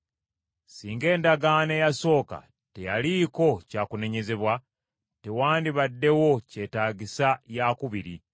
Singa endagaano eyasooka teyaliiko kyakunenyezebwa, tewandibaddewo kyetaagisa yaakubiri.